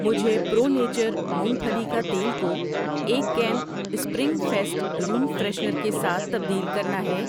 مجھے pro nature مونگ پھلی کا تیل کوایک can spring fest room freshener کے ساتھ تبدیل کرنا ہے۔